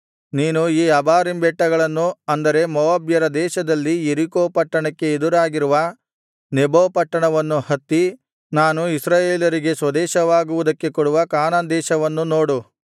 ನೀನು ಈ ಅಬಾರೀಮ್ ಬೆಟ್ಟಗಳನ್ನು ಅಂದರೆ ಮೋವಾಬ್ಯರ ದೇಶದಲ್ಲಿ ಯೆರಿಕೋ ಪಟ್ಟಣಕ್ಕೆ ಎದುರಾಗಿರುವ ನೆಬೋ ಬೆಟ್ಟವನ್ನು ಹತ್ತಿ ನಾನು ಇಸ್ರಾಯೇಲರಿಗೆ ಸ್ವದೇಶವಾಗುವುದಕ್ಕೆ ಕೊಡುವ ಕಾನಾನ್ ದೇಶವನ್ನು ನೋಡು